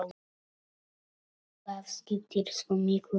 Það skiptir svo miklu máli.